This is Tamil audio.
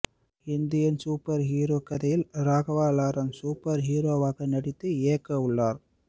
இந்தியன் சூப்பர் ஹீரோ கதையில் ராகவா லாரன்ஸ் சூப்பர் ஹீரோவாக நடித்து இயக்கவுள்ளார்